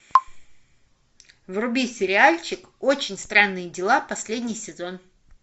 вруби сериальчик очень странные дела последний сезон